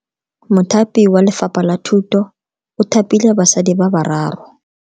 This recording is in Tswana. Mothapi wa Lefapha la Thuto o thapile basadi ba ba raro.